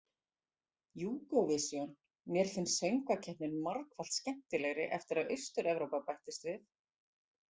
Júgóvisjón Mér finnst söngvakeppnin margfalt skemmtilegri eftir að Austur- Evrópa bættist við.